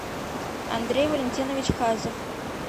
андрей валентинович хазов